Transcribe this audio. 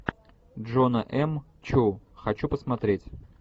джона м чу хочу посмотреть